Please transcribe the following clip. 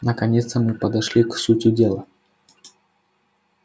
наконец-то мы подошли к сути дела